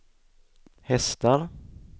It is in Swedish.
hästar